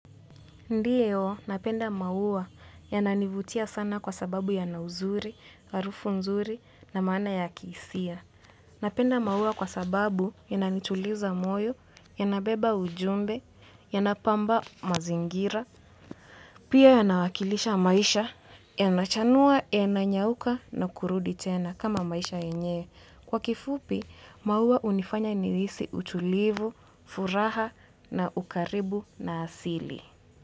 Ndiyo napenda maua yananivutia sana kwa sababu yana uzuri, harufu nzuri na maana ya kihisia. Napenda maua kwa sababu yananituliza moyo, yanabeba ujumbe, yanapamba mazingira, pia yanawakilisha maisha, yanachanua, yananyauka na kurudi tena kama maisha yenyewe. Kwa kifupi, maua hunifanya nihisi utulivu, furaha na ukaribu na asili.